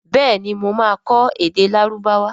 béèni mọ má kọ èdè Lárúbáwá.